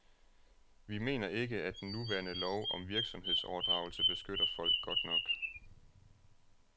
Vi mener ikke, at den nuværende lov om virksomhedsoverdragelse beskytter folk godt nok.